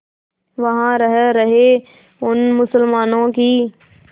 वहां रह रहे उन मुसलमानों की